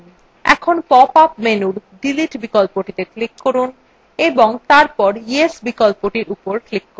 এখন pop up menu delete বিকল্পটিত়ে click করুন এবং তারপর yes বিকল্প উপর click করুন